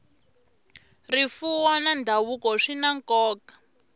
rifuwo na ndhavuko swi na nkoka